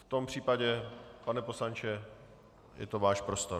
V tom případě, pane poslanče, je to váš prostor.